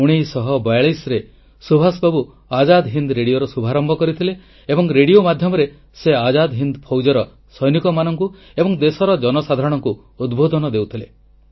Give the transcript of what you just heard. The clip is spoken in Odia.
1942 ରେ ସୁଭାଷ ବାବୁ ଆଜାଦ୍ ହିନ୍ଦ୍ ରେଡ଼ିଓର ଶୁଭାରମ୍ଭ କରିଥିଲେ ଏବଂ ରେଡ଼ିଓ ମାଧ୍ୟମରେ ସେ ଆଜାଦ୍ ହିନ୍ଦ୍ ଫୌଜର ସୈନିକମାନଙ୍କୁ ଏବଂ ଦେଶର ଜନସାଧାରଣଙ୍କୁ ଉଦ୍ବୋଧନ ଦେଉଥିଲେ